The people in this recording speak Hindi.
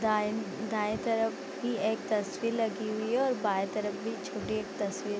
दाएँ दाएँ तरफ भी एक तस्वीर लगी हुई है और बाएं तरफ भी छोटी एक तस्वीर --